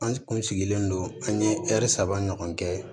An kun sigilen don an ye saba ɲɔgɔn kɛ